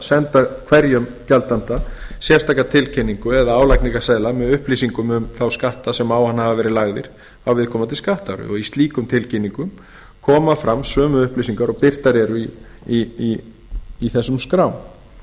senda hverjum gjaldanda sérstaka tilkynningu eða álagningarseðla með upplýsingum um þá skatta sem á hann hafa verið lagðir á viðkomandi skattári í slíkum tilkynningum koma fram sömu upplýsingar og birtar eru í þessum skrám